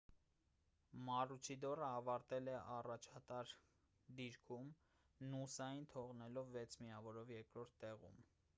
մարուչիդորը ավարտել է առաջատար դիրքում նուսային թողնելով վեց միավորով երկրորդ տեղում